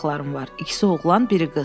"Mənim də uşaqlarım var, ikisi oğlan, biri qız."